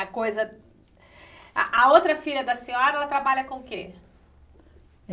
A coisa... A a outra filha da senhora, ela trabalha com o quê?